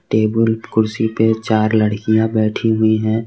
Table कुर्सी पे चार लड़कियां बैठीं है।